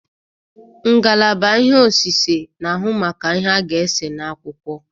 Ngalaba ihe osise n'ahụ maka ihe a ga-ese n'akwụkwọ